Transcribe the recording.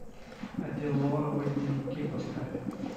аддеролловые дневники поставь